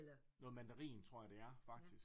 Noget mandarin tror jeg det er faktisk